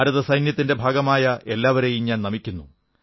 ഭാരതസൈന്യത്തിന്റെ ഭാഗമായ എല്ലാവരേയും ഞാൻ നമിക്കുന്നു